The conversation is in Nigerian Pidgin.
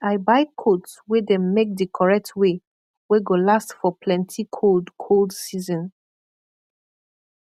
i buy koat wey dem make di korret way wey go last for plenti kold kold season